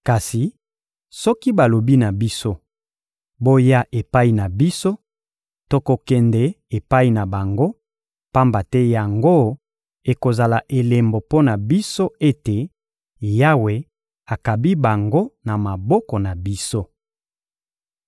Kasi soki balobi na biso: «Boya epai na biso,» tokokende epai na bango, pamba te yango ekozala elembo mpo na biso ete Yawe akabi bango na maboko na biso.